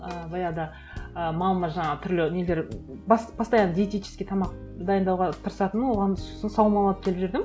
і баяғыда і мамама жаңа түрлі нелер постоянно диетический тамақ дайындауға тырысатынмын оған сосын саумал алып келіп жүрдім